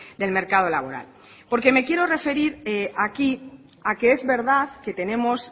del mercado laboral porque me quiero referir aquí a que es verdad que tenemos